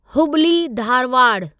Hubli Dharwad